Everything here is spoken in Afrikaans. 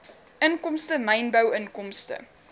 inkomste mynbou inkomste